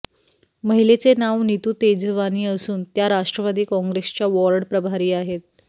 महिलेचे नाव नीतू तेजवानी असून त्या राष्ट्रवादी काँग्रेसच्या वॉर्ड प्रभारी आहेत